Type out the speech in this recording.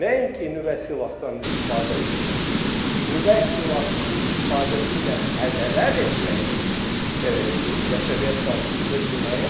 Nəinki nüvə silahdan istifadə etmək, nüvə silahının istifadəsi ilə hədələr etmək də bəşəriyyət qarşısında cinayətdir.